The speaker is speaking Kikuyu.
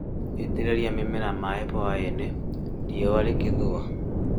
Itĩrĩria mĩmera maaĩ hwaĩ-inĩ, riũa rĩgĩthũa